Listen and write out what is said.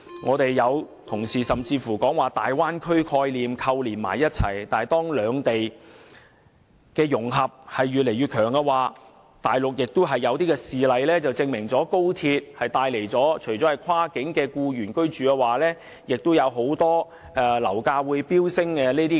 有議員甚至把高鐵和大灣區概念扣連起來，但當兩地的融合越來越深，大陸已有事例證明高鐵會帶來跨境僱員居住和樓價飆升等問題。